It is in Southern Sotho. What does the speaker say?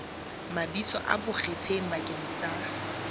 mabitso a bonkgetheng bakeng sa